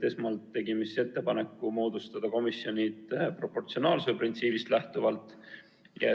Esmalt tegime ettepaneku moodustada komisjonid proportsionaalsuse printsiibist lähtuvalt.